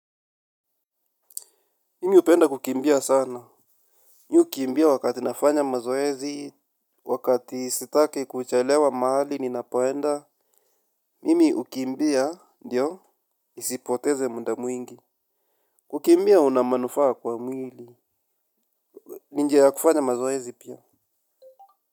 Mimi hupenda kukimbia sana. Ni hukimbia wakati nafanya mazoezi. Wakati sitaki kuchelewa mahali ninapoenda mimi hukimbia, ndio, nisipoteze muda mwingi. Kukimbia una manufaa kwa mwili. Ni njia ya kufanya mazoezi pia.